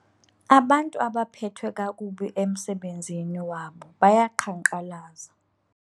Abantu abaphethwe kakubi emsebenzini wabo bayaqhankqalaza.